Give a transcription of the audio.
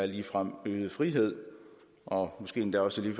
ligefrem øget frihed og måske endda også